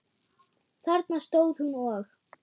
Þarna stóð hún og.